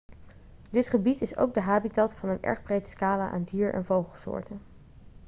dit gebied is ook de habitat van een erg breed scala aan dier en vogelsoorten